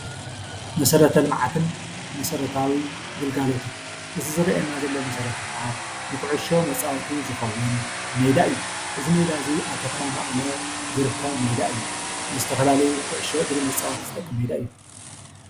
መሰረተ ልምዓትን መሰረታዊ ግልጋሎትን እዚ ዝረእየና ዘሎ መሰረተ ልምዓት ንኩዕሾ መፃወቲ ዝኸውን ሜዳ እዩ። እዚ ሜዳ እዚ አብ ከተማ መቐለ ዝርከብ ሜዳ እዩ። ዝተፈላለዩ ኩዕሾ እግሪ ዝጠቅም ሜዳ እዩ።